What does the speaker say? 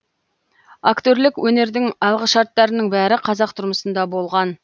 актерлік өнердің алғышарттарының бәрі қазақ тұрмысында болған